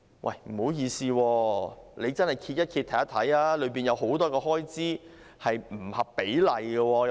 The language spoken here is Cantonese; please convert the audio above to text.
但是，不好意思，你們翻看一下，當中有很多開支是不合比例的。